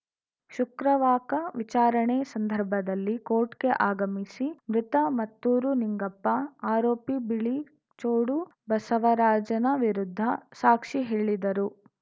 ಶುಕ್ರವಾಕ ವಿಚಾರಣೆ ಸಂದರ್ಭದಲ್ಲಿ ಕೋರ್ಟ್‌ಗೆ ಆಗಮಿಸಿ ಮೃತ ಮತ್ತೂರು ನಿಂಗಪ್ಪ ಆರೋಪಿ ಬಿಳಿಚೋಡು ಬಸವರಾಜನ ವಿರುದ್ಧ ಸಾಕ್ಷಿ ಹೇಳಿದರು